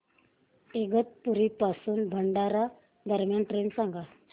इगतपुरी पासून भंडारा दरम्यान ट्रेन सांगा